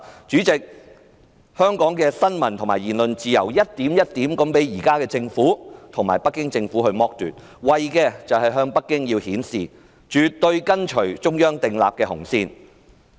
主席，香港的新聞自由和言論自由一點一滴地被現時的政府剝奪，為的是向北京顯示香港政府絕對跟隨中央訂立的紅線。